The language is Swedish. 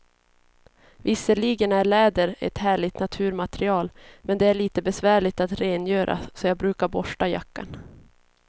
Visserligen är läder ett härligt naturmaterial, men det är lite besvärligt att rengöra, så jag brukar borsta jackan.